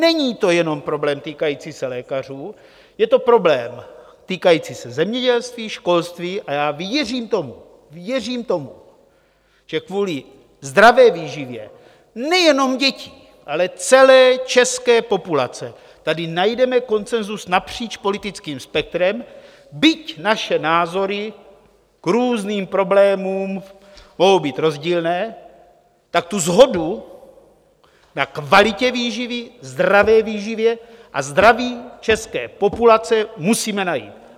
Není to jenom problém týkající se lékařů, je to problém týkající se zemědělství, školství a já věřím tomu - věřím tomu, že kvůli zdravé výživě nejenom dětí, ale celé české populace tady najdeme konsenzus napříč politickým spektrem, byť naše názory k různým problémům mohou být rozdílné, tak tu shodu na kvalitě výživy, zdravé výživě a zdraví české populace musíme najít.